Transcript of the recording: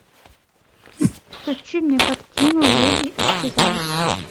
включи мне картину леди исчезает